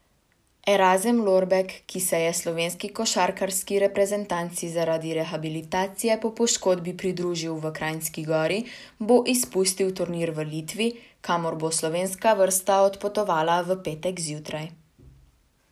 Erazem Lorbek, ki se je slovenski košarkarski reprezentanci zaradi rehabilitacije po poškodbi pridružil v Kranjski Gori, bo izpustil turnir v Litvi, kamor bo slovenska vrsta odpotovala v petek zjutraj.